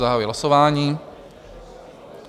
Zahajuji hlasování.